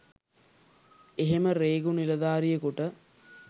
එහෙම රේගු නිලධාරියෙකුට